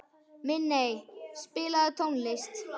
Minney, spilaðu tónlist.